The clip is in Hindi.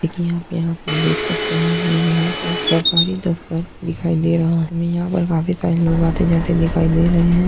यहाँ पे यहाँ पर देख सकते हैं हमें यहाँ पर सरकारी दफ्तर दिखाई दे रहा है। हमें यहाँ पर काफी सारे लोग आते जाते दिखाई दे रहे हैं।